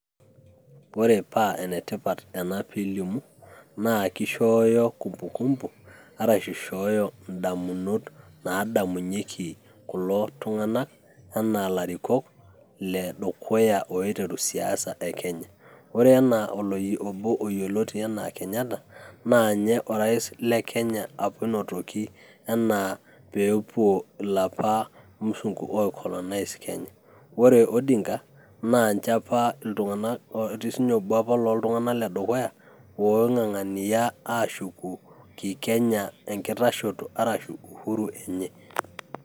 wore paa enetipat ena piilimu naa kishooyo kumbu kumbu arashu ishooyo indamunot naadamunyieki kulo tung`anak anaa ilarikok ledukuya oiteru siasa e kenya, wore ena obo yioloti enaa Kenyatta naa nye orais lekenya apa oinotoki enaa peepuo ilapa musungu ooicolonize kenya, ore Odinga naa nche apa iltung`anak etii apa sininye obo apa looltung`ana lekeduya woo ng`ang`ania aashuku kikenya enkitashoto arashu uhuru enye.